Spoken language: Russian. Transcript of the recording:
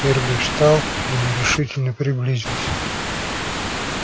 эрби встал и нерешительно приблизился